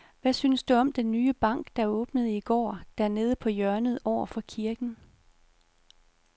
Hvad synes du om den nye bank, der åbnede i går dernede på hjørnet over for kirken?